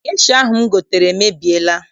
Gesha ahụ m gotere emebiela.